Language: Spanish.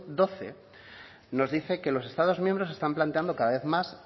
doce nos dice que los estados miembros están planteando cada vez más